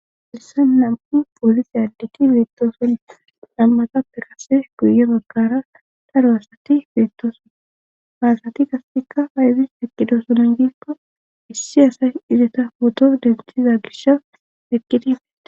Haysan nam7u poolisi additi beettoson nambata pirase guye bakara daro hasati beettosona haasati gastika hayzis peqqido sonan giikko issi asay izeta poto denthiza gisha peqqidie